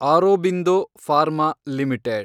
Aurobindo pharma limited